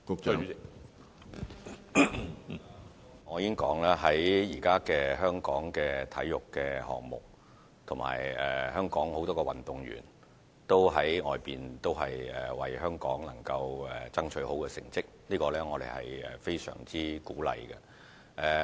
主席，我已經指出，香港現時在體育項目方面，以及很多運動員也在外地為香港爭取到好成績，我們對此是非常鼓勵的。